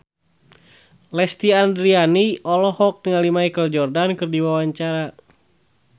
Lesti Andryani olohok ningali Michael Jordan keur diwawancara